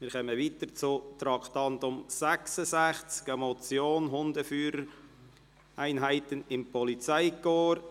Wir kommen zum Traktandum 66, der Motion «Hundeführereinheiten im Polizeikorps».